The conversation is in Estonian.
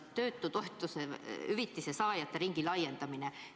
Seal oli ka töötushüvitise saajate ringi laiendamine.